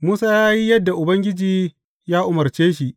Musa ya yi yadda Ubangiji ya umarce shi.